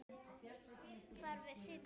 Þar við situr.